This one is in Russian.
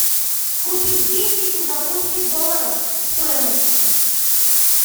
купить двести сингапурских долларов стоимость